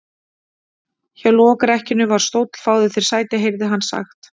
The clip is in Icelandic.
Hjá lokrekkjunni var stóll:-Fáðu þér sæti, heyrði hann sagt.